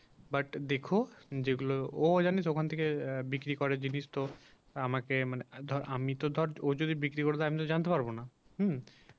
but দেখো যেগুলো ওর আগে যখন থেকে বিক্রি করে জিনিস তো আমাকে মানে আমি তো ধর ও যদি বিক্রি করবে আমি তো জানতে পারবো না হুম